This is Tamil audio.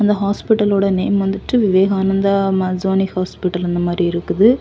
இந்த ஹாஸ்பிடல் ஓட நேம் வந்துட்டு விவேகானந்தா மாசோணி ஹாஸ்பிடல் அந்த மாரி இருக்குது.